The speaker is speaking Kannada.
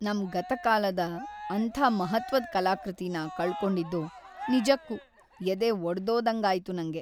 ನಮ್ ಗತಕಾಲದ ಅಂಥ ಮಹತ್ತ್ವದ್ ಕಲಾಕೃತಿನ ಕಳ್ಕೊಂಡಿದ್ದು ನಿಜಕ್ಕೂ ಎದೆ ಒಡ್ದೋದಂಗಾಯ್ತು ನಂಗೆ.